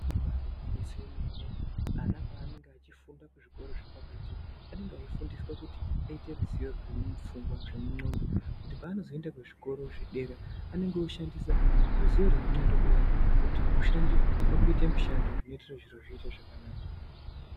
Ibari gwinyiso remene, ana paanenge achifunda zvikoro zviri pakati anenge eifunda kuti aite zvidziyo zviri mupfungwa, zvemungondo kuti paanozoenda kuzvikoro zvepadera anenge oshandisa ruziyo rwemungondo rwuyani kuti rwushande pakuite mushando kuti zviite zvakanaka.